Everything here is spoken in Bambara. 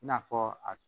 I n'a fɔ a